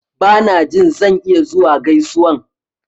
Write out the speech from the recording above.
Ba na jin zan iya zuwa gaisuwan.